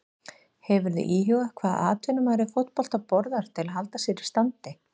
Hefurðu íhugað hvað atvinnumaður í fótbolta borðar til að halda sér í standi?